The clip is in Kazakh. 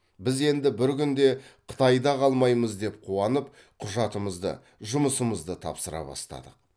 біз енді бір күнде қытайда қалмаймыз деп қуанып құжатымызды жұмысымызды тапсыра бастадық